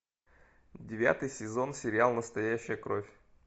девятый сезон сериал настоящая кровь